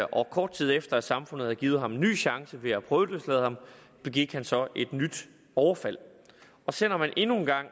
og kort tid efter at samfundet havde givet ham en ny chance ved at prøveløslade ham begik han så et nyt overfald selv om man endnu en gang